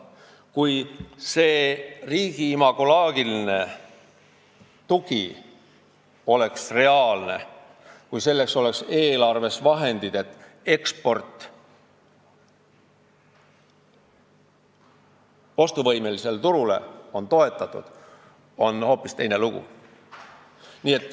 Kui riigi imagoloogiline tugi oleks reaalne ja selleks oleks eelarves vahendid, st eksporti ostuvõimelisele turule toetataks, oleks lugu hoopis teine.